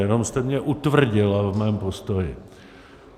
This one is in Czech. Jenom jste mě utvrdila v mém postoji.